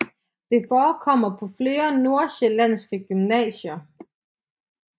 Det forekommer på flere nordsjællandske gymnasier